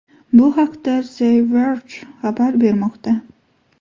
Bu haqda The Verge xabar bermoqda .